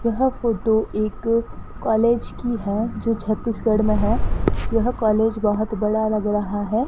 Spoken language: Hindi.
यह फोटो एक कॉलेज की है जो छत्तीसगढ़ में है यह कॉलेज बहोत बड़ा लग रहा है।